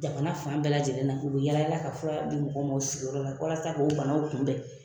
Jamana fan bɛɛ lajɛlen na. U be yala yala ka fura di mɔgɔw ma u sigiyɔrɔ la walasa k'o banaw kunbɛ.